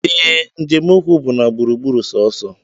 Ee, njem ụkwụ bụ na gburu gburu sọọsọ